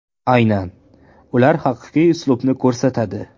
Aynan ular haqiqiy uslubni ko‘rsatadi!